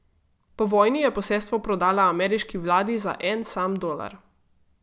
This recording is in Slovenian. Po vojni je posestvo prodala ameriški vladi za en sam dolar.